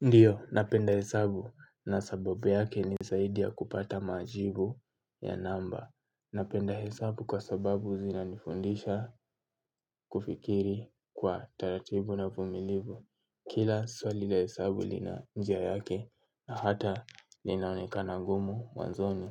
Ndiyo, napenda hesabu na z kupata majibubya namba. Napenda hesabu kwa sababu zinanifundisha kufikiri kwa taratibu na uvumilivu. Kila swali la hesabu lina njia yake na hata linaonekana ngumu mwanzoni.